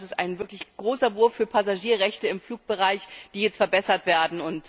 Das ist ein wirklich großer Wurf für Passagierrechte im Flugbereich, die jetzt verbessert werden.